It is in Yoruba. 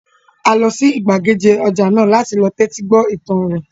A lọ sí gbàgede ọjà náà láti lọ tẹ́tí gbọ́ ìtàn rẹ̀